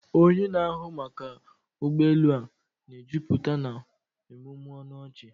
Onye na-ahụ maka ụgbọ elu a na-ejupụta na ịmụmụ ọnụ ọchị.